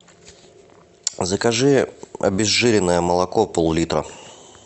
закажи обезжиренное молоко пол литра